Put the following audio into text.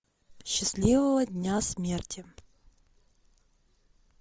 счастливого дня смерти